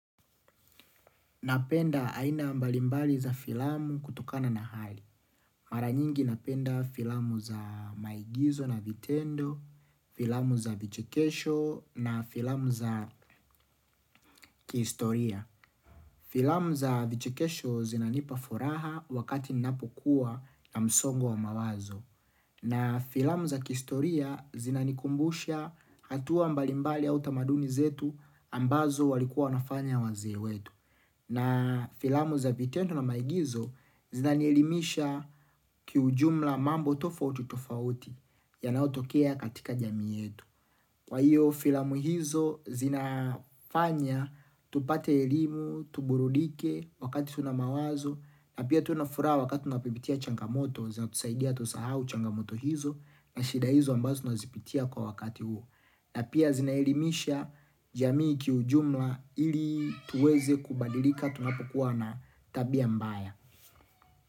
Napenda aina mbalimbali za filamu kutokana na hali. Mara nyingi napenda filamu za maigizo na vitendo, filamu za vichekesho na filamu za kihistoria. Filamu za vichekesho zinanipa furaha wakati ninapokuwa na msongo wa mawazo. Na filamu za kistoria zinanikumbusha hatua mbalimbali au tamaduni zetu ambazo walikuwa wanafanya wazee wetu. Na filamu za vitendo na maigizo zinanielimisha kiujumla mambo tofauti tofauti yanayotokea katika jamii yetu. Kwa hiyo filamu hizo, zinafanya, tupate elimu, tuburudike, wakati tuna mawazo, na pia tuwe na furaha wakati unapopitia changamoto, zinatusaidia tusahau changamoto hizo, na shida hizo ambazo tunazipitia kwa wakati huo. Na pia zinaelimisha jamii kiujumla ili tuweze kubadilika tunapokuwa na tabia mbaya.